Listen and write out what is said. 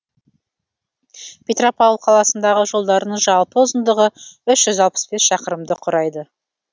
петропавл қаласындағы жолдардың жалпы ұзындығы үш жүз алпыс бес шақырымды құрайды